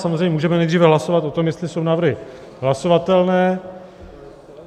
Samozřejmě můžeme nejdříve hlasovat o tom, jestli jsou návrhy hlasovatelné.